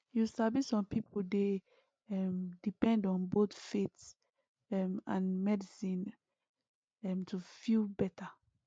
you sabi some people dey um depend on both faith um and medicine um to feel better